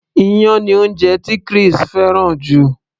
iyán ni oúnjẹ tí Chris fẹ́ràn jù